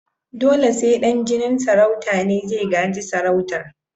Dole sai dan jinin sarauta ne zai gaji sarautar